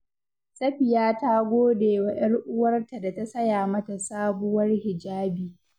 Safiya ta gode wa 'yar uwarta da ta saya mata sabuwar hijabi.